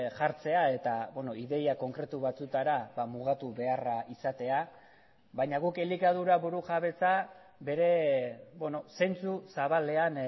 jartzea eta ideia konkretu batzuetara mugatu beharra izatea baina guk elikadura burujabetza bere zentzu zabalean